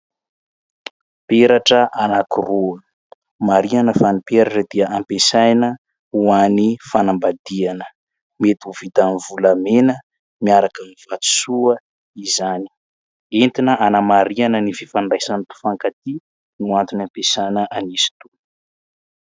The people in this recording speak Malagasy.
Peratra anakiroa. Marihina fa ny peratra dia ampiasaina ho an'ny fanambadiana. Mety ho vita amin'ny volamena miaraka amin'ny vatosoa izany. Entina anamarihana ny fifandraisan'ny mpifankatia no antony ampiasana an'izy itony.